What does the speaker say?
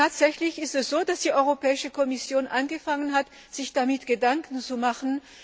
Tatsächlich ist es so, dass die Europäische Kommission angefangen hat, sich darüber Gedanken zu machen.